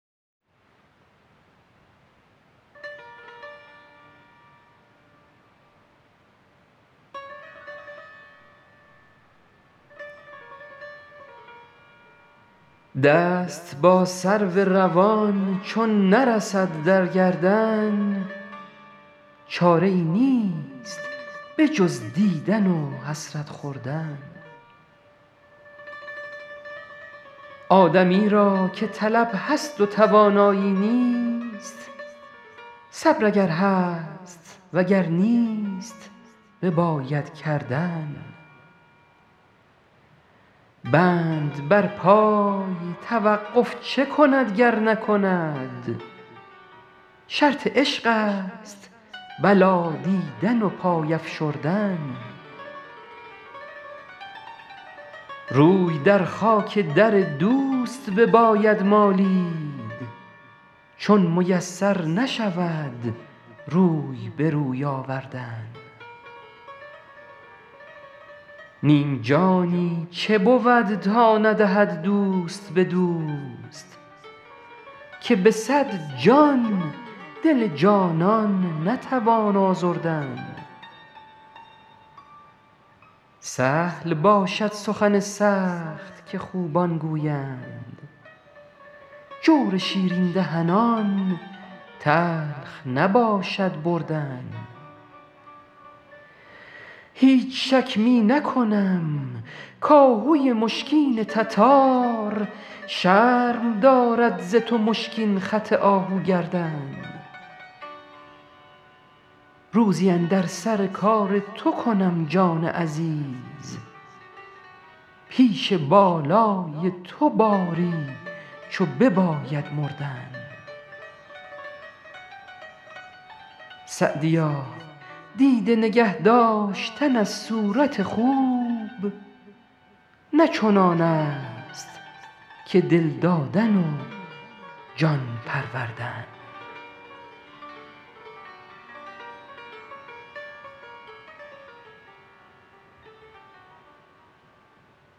دست با سرو روان چون نرسد در گردن چاره ای نیست به جز دیدن و حسرت خوردن آدمی را که طلب هست و توانایی نیست صبر اگر هست و گر نیست بباید کردن بند بر پای توقف چه کند گر نکند شرط عشق است بلا دیدن و پای افشردن روی در خاک در دوست بباید مالید چون میسر نشود روی به روی آوردن نیم جانی چه بود تا ندهد دوست به دوست که به صد جان دل جانان نتوان آزردن سهل باشد سخن سخت که خوبان گویند جور شیرین دهنان تلخ نباشد بردن هیچ شک می نکنم کآهوی مشکین تتار شرم دارد ز تو مشکین خط آهو گردن روزی اندر سر کار تو کنم جان عزیز پیش بالای تو باری چو بباید مردن سعدیا دیده نگه داشتن از صورت خوب نه چنان است که دل دادن و جان پروردن